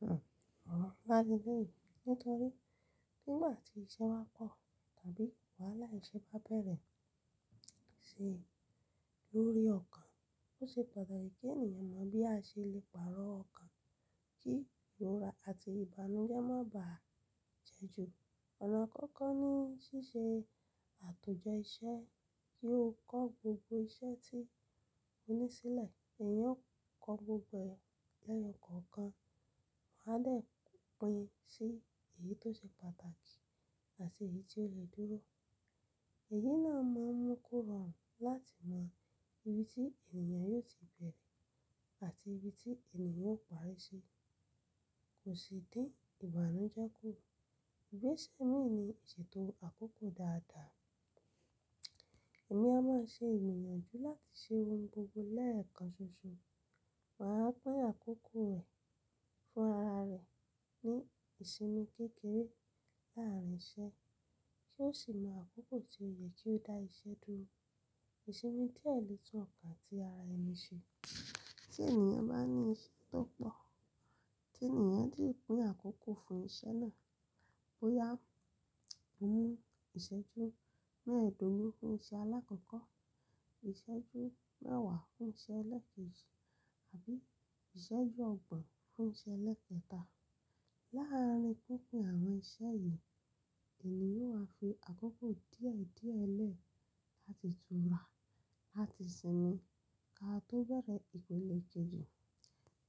Hmm ọ̀, wọ́n máa di bẹ́ẹ̀ nítorí bígbà tí iṣẹ́ bá pọ̀ tàbí wàhálà iṣẹ́ bá bẹ̀rẹ̀ ṣe lórí ọkàn, ó ṣe pàtàkì kí ènìyàn mọ bí a ṣe lè pàrọ̀ ọkàn kí ìrora àti ìbànújẹ́ má bà á jẹ́ ju. Ọ̀nà àkọ́kọ́ ni ṣíṣe àtúnjẹ iṣẹ́ kí o kọ́ gbogbo iṣẹ́ tí ó ní sílẹ̀. Èèyàn ó kọ́ gbogbo ẹ̀ lẹ́yọ̀ kọ̀ọ̀kan, wọ́n a dẹ̀ pín sí èyí tó ṣe pàtàkì àti èyí tí ó lè dúró. Èyí náà máa mú kó rọrùn láti mọ ibi tí ènìyàn yóò ti bẹ̀rẹ̀ àti ibi tí ènìyàn ó parí í ṣi. Kò sì dí ìbànújẹ́ kù. Gbéṣẹ́ mí ní ìṣètò àkókò dáadáa. Ẹ̀mí a máa ṣe ìgbìyànjú láti ṣe ohun gbogbo lẹ́ẹ̀kan ṣoṣo. Wọ́n á pín àkókò fún ara rẹ̀ ní ìsinmi kékeré láàárín iṣẹ́ kí ó sì mọ àkókò tí ó yẹ kí ó dá iṣẹ́ dúró. Ìsinmi díẹ̀ lè tún ọkàn tí ara ẹni ṣe. Tí ènìyàn bá ní iṣẹ́ tó pọ̀ tí ènìyàn sì pín àkókò fún iṣẹ́ náà bóyá ó mú ìṣẹ́jú mẹ́ẹ̀dógún fún iṣẹ́ alákọ̀ọ́kọ́, ìṣẹ́jú mẹ́wàá fún iṣẹ́ elẹ́ẹ̀kejì àbí ìṣẹ́jú ọgbọ̀n fún iṣẹ́ ẹlẹ́ẹ̀kẹta. Láàárín pínpín àwọn iṣẹ́ yìí, ènìyàn ó á fi àkókò díẹ̀ díẹ̀ lẹ́ẹ̀ láti tura, láti sinmi ká tó bẹ̀rẹ̀ ìpele kejì.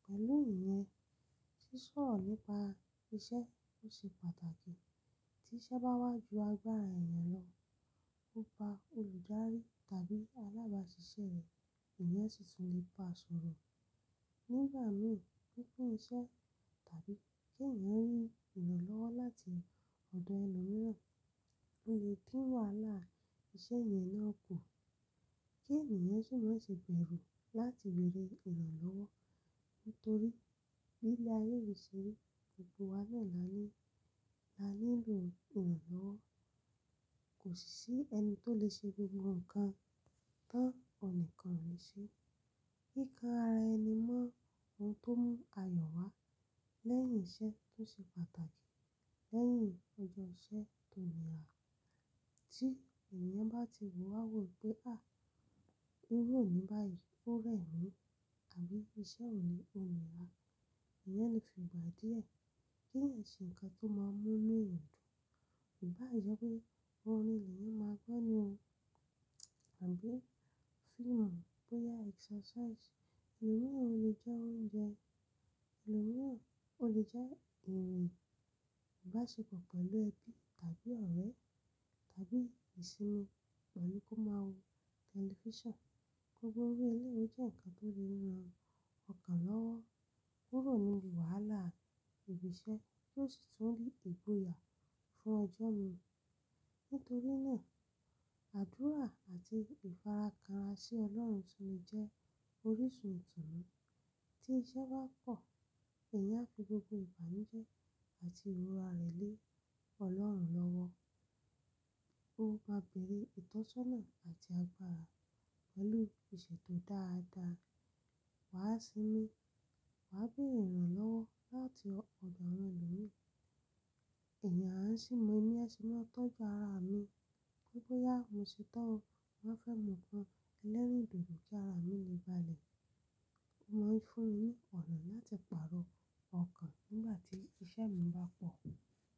Pẹ̀lú ìyẹn, ṣíṣọ̀rọ̀ nípa iṣẹ́ ó ṣe pàtàkì. Tí iṣẹ́ bá wá ju agbára ènìyàn lọ, ó bá olùdarí tàbí alábáṣiṣẹ́ rẹ̀, ènìyàn sì tún lè bá sọ̀rọ̀. Nígbà mìí pínpín iṣẹ́ tàbí kí ènìyàn rí ìrànlọ́wọ́ láti ọ̀dọ̀ ẹni mímọ́ ó lè dín wàhálà iṣẹ́ yẹn náà kù kí ènìyàn sì má ṣe bẹ̀rù láti bẹ̀rẹ̀ ìrànlọ́wọ́. Nítorí bí ilé ayé yí ṣe rí, gbogbo wa náà la ní, la nílò ìrànlọ́wọ́. Kò sì sí ẹni tó lè ṣe gbogbo nǹkan tán oníkan ò lè ṣe. Kíkan ara ẹni mọ́ ohun tó mú ayọ̀ wá lẹ́yìn iṣẹ́ tó ṣe pàtàkì lẹ́yìn ọjọ́ iṣẹ́ tó nìrà. Tí ènìyàn bá ti rò wá wò pé à, irú òní bá yìí ó rẹ̀ mí àbí iṣẹ́ òní ò nìrà, ènìyàn lè fi ìgbà díẹ̀ kí ẹ̀ ṣe nǹkan tó máa mú inú èèyàn dùn. Ìbá ì jẹ́ pé orin èyí máa gbọ́ ni o àbí fíìmù bóyá exercise, èlò míràn o lè jẹ oúnjẹ, èlò míràn o lè jẹ ìwé, ìbáṣepọ̀ pẹ̀lú ẹbí tàbí ọ̀rẹ́ tàbí ìsinmi pẹ̀lú kí ó máa wo tẹlifíṣàn. Gbogbo irú eléyi ó jẹ́ nǹkan tó lè ran ọkàn lọ́wọ́. Kúrò nínú wàhálà ibi iṣẹ́ tó sì tún lè bu ya fún ọjọ́ mìíràn. Nítorí náà, àdúrà àti ìfarakànra sí Ọlọ́run sì ni jẹ́ orísun ìtùnú. Tí iṣẹ́ bá pọ̀, èèyàn á fi gbogbo ìbànújẹ́ àti ìrora rẹ̀ lé Ọlọ́run lọ́wọ́. Ó bá bẹ̀rẹ̀ ìtọ́sọ́nà àti agbára pẹ̀lú ìṣètò dáadáa. Wàá sinmi, wà á bẹ̀rẹ̀ ìrànlọ́wọ́ láti ọ̀dọ̀ àwọn ẹlòmí ẹ̀yàn á sì mọ ẹni ẹsin náà tọ́jú ara mi. Gbogbo yà mí ṣe tán o, mo fẹ́ mu nǹkan ẹlẹ́rìndòdò kí ara mi lè balẹ̀. Mo wí fún yín ní ọ̀nà láti pàrọ̀ ọkàn nígbà tí iṣẹ́ mi bá pọ̀.